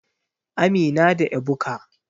Amina da Ebuka.